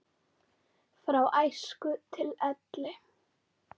Frá æsku til elli.